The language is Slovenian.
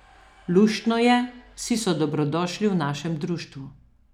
Luštno je, vsi so dobrodošli v našem društvu.